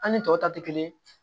An ni tɔw ta tɛ kelen ye